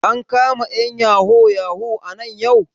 An kama ƴan yahoo yahoo nan yau?